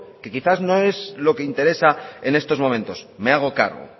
que quizás no es lo que interesa en estos momentos me hago cargo